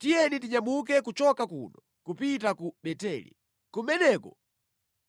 Tiyeni tinyamuke kuchoka kuno kupita ku Beteli. Kumeneko